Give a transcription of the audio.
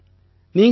வணக்கம் சார்